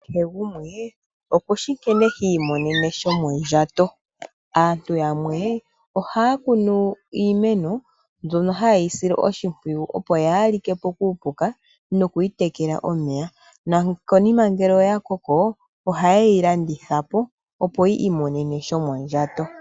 Kehe gumwe okushi nkene hi imonene shomondjato. Aantu yamwe ohaya kunu iimeno mbyono haye yi sile oshimpwiyu opo yaa like po kuupuka noku yi tekela omeya, nokonima ngele oya koko ohaye yi landitha po opo yi imonene shomondjato.